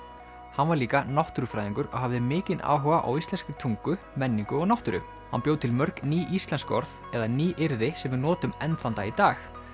hann var líka náttúrufræðingur hafði mikinn áhuga á íslenskri tungu menningu og náttúru hann bjó til mörg ný íslensk orð eða nýyrði sem við notum enn þann dag í dag